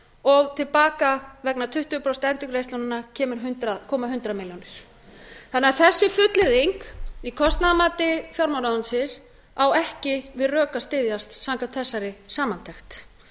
og til baka vegna tuttugu prósent endurgreiðslunnar koma hundrað milljónir þessi fullyrðing í kostnaðarmati fjármálaráðuneytisins á ekki við rök að styðjast samkvæmt þessari samantekt